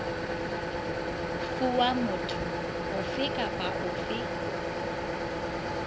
fuwa motho ofe kapa ofe